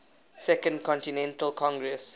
second continental congress